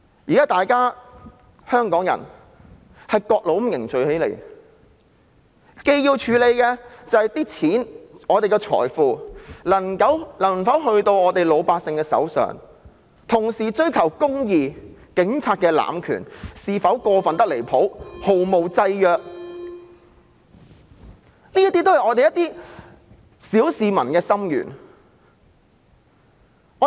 現時各路香港人正凝聚起來，要處理的不單是我們的財富能否交到老百姓手上，同時也要追求公義，調查警察濫權是否過分得離譜且毫無制約，這些都是我們小市民的心願。